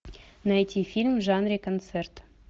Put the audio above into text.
найти фильм в жанре концерт